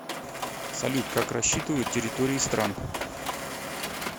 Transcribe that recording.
салют как рассчитывают территории стран